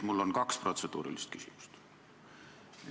Mul on kaks protseduurilist küsimust.